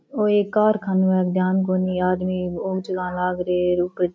ओ एक कारखानों है ध्यान कोणी आदमी ओ चलान लाग रयो है ऊपर --